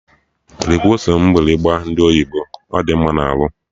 Rikwuo ose mgbịrịgba ndị oyibo, ọ dị mma na arụ!